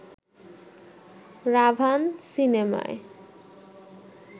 'রাভান' সিনেমায়